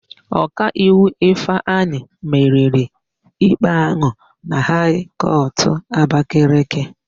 Ọkaiwu Ịfụnanya meriri ikpe áhụ̀ na Haị kọtụ Abakaliki.